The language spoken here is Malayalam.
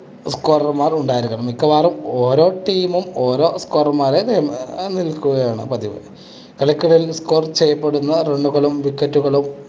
scorer മാർ ഉണ്ടാകും. മിക്കവാറും ഓരോ team ഉം ഓരോ scorer മാരെ വെ~വെക്കുകയാണ് പതിവ്. കളിക്കിടയിൽ score ചെയ്യപ്പെടുന്ന run കളും wicket കളും